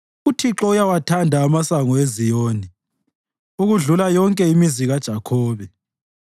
uThixo uyawathanda amasango eZiyoni okudlula yonke imizi kaJakhobe.